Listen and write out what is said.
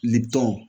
Libanw